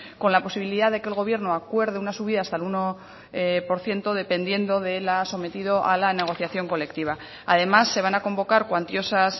con la posibilidad de que el gobierno acuerde una subida hasta el uno por ciento dependiendo o sometido a la negociación colectiva además se van a convocar cuantiosas